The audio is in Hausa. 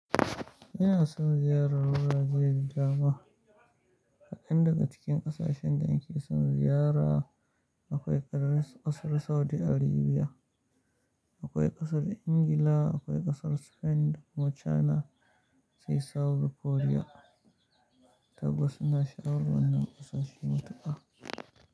Ina son ziyarar wurare da dama. Kadan daga cikin ƙasashen da in ke son ziyara akwai ƙasar Saudi Arabiya akwai ƙasar Ingila, akwai ƙasar Spend, da kuma china sai South Korea. Tabbas ina sha'awar wannan ƙasashe matuƙa.